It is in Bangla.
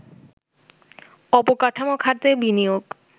অবকাঠামো খাতে বিনিয়োগ